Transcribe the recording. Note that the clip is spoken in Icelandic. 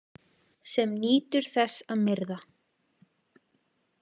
Sem nýtur þess að myrða.